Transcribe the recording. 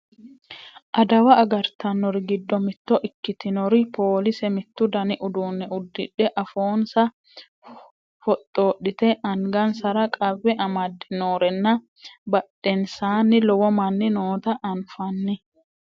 adawa agartannori giddo mitto ikkitinori poolise mittu dani uduunne uddidhe afoonsa foxxodhite angansara qawwe amadde noorenna badhensaanni lowo manni noota anafanni